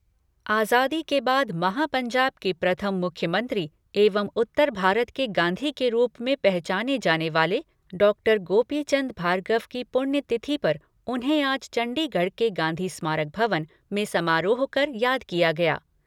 आजादी के बाद महापंजाब के प्रथम मुख्यमंत्री एंव उत्तर भारत के गांधी के रूप मे पहचाने जाने वाले डॉक्टर गांपीचन्द भार्गव की पुण्यतिथि पर उन्हें आज चंडीगढ़ के गांधी स्मारक भवन में समारोह कर, याद किया गया।